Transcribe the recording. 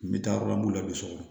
N bɛ taa yɔrɔ mun na a bɛ so kɔnɔ